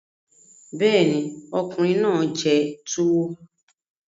Bẹ́ẹ̀ ni, ọkùnrin náà jẹ tuwo